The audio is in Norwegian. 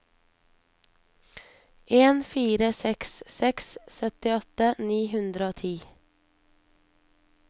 en fire seks seks syttiåtte ni hundre og ti